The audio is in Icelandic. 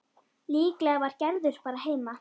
Líklega var Gerður bara heima.